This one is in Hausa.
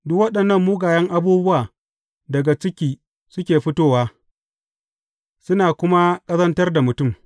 Duk waɗannan mugayen abubuwa daga cikin suke fitowa, suna kuma ƙazantar da mutum.